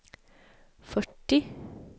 fyrtio